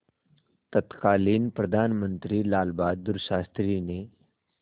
तत्कालीन प्रधानमंत्री लालबहादुर शास्त्री ने